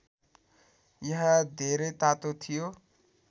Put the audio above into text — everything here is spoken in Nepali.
यहाँ धेरै तातो थियो